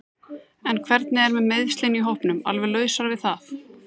En hvernig er með meiðslin í hópnum alveg lausar við það?